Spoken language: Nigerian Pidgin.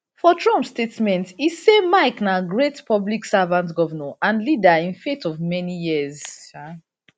for trump statement e say mike na great public servant govnor and leader in faith for many years um